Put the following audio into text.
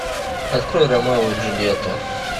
открой ромео и джульетта